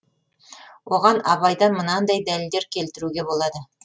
оған абайдан мынандай дәлелдер келтіруге болады